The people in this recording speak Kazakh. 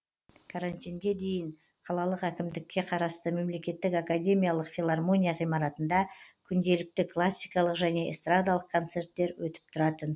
карантинге дейін қалалық әкімдікке қарасты мемлекеттік академиялық филормония ғимаратында күнделікті классикалық және эстрадалық концерттер өтіп тұратын